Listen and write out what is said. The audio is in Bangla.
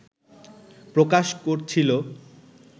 প্রকাশ করছিল